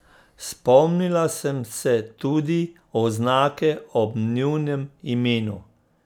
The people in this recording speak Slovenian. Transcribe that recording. Spomnila sem se tudi oznake ob njunem imenu.